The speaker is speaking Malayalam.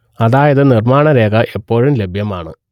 അതായത് നിർമ്മാണരേഖ എപ്പോഴും ലഭ്യമാണ്